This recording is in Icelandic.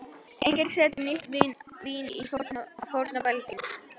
Enginn setur nýtt vín á forna belgi.